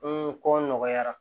N ko nɔgɔyara